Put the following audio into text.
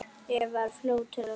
Eva er fljót til svars.